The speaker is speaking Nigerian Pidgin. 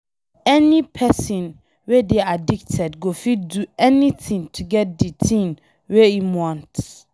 Any pesin wey dey addicted go fit do anything to get di thing wey im want.